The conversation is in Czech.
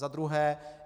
Za druhé.